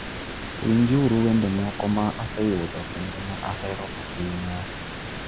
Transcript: Winjuru wende moko ma aseyudo kendo ma ahero ahinya.